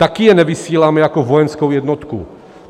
Taky je nevysíláme jako vojenskou jednotku.